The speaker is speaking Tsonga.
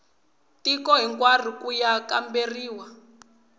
tiko hinkwaro ku ya kamberiwa